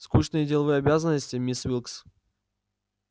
скучные деловые обязанности мисс уилкс